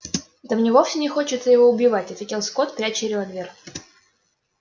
да мне вовсе не хочется его убивать ответил скотт пряча револьвер